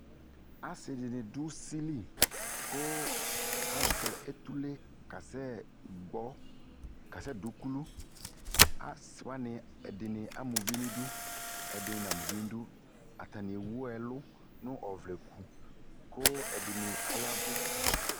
Ase de ne do usili ko azɛ utule kasɛ gbɔ, kasɛ du ukuluAse wane ɛde nae ama uvi nidu, ɛde ne nama uvi nidu Atane ewu ɛlu no ɔvlɛku ko ɛde ne ayavu